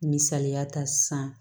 Misaliya ta san